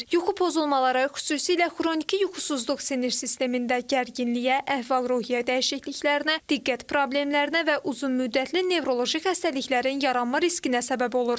Yuxu pozulmaları, xüsusilə xroniki yuxusuzluq sinir sistemində gərginliyə, əhval-ruhiyyə dəyişikliklərinə, diqqət problemlərinə və uzunmüddətli nevroloji xəstəliklərin yaranma riskinə səbəb olur.